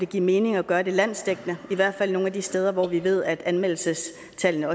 give mening at gøre det landsdækkende i hvert fald nogle af de steder hvor vi ved at anmeldelsestallene